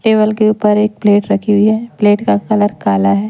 Table के ऊपर एक प्लेट रखी हुई है प्लेट का कलर काला है।